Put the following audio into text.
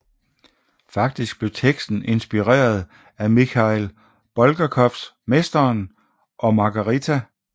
Faktisk blev teksten inspireret af Mikhail Bulgakovs Mesteren og Margarita